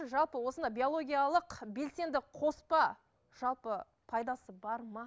жалпы осындай биологиялық белсенді қоспа жалпы пайдасы бар ма